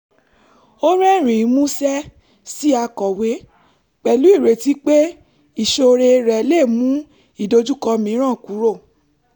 ó rẹ́rìn-ín músẹ́ sí akọ̀wé pẹ̀lú ìrètí pé ìṣoore rẹ̀ lè mú ìdojúkọ mìíràn kúrò